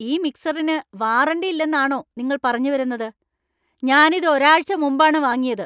ഈ മിക്സറിന് വാറന്‍റി ഇല്ലെന്നാണോ നിങ്ങൾ പറഞ്ഞു വരുന്നത്? ഞാൻ ഇത് ഒരാഴ്ച മുമ്പാണ് വാങ്ങിയത്!